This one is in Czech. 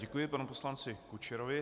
Děkuji panu poslanci Kučerovi.